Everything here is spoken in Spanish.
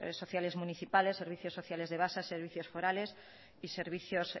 sociales municipales a los servicios sociales de base a servicios forales y a servicios